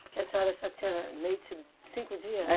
Por que a senhora só tinha leite cinco dia? É.